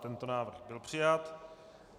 Tento návrh byl přijat.